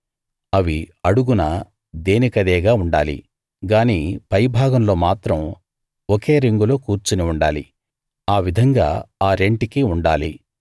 అవి అడుగున దేనికదేగా ఉండాలి గానీ పై భాగంలో మాత్రం ఒకే రింగులో కూర్చుని ఉండాలి ఆ విధంగా ఆ రెంటికీ ఉండాలి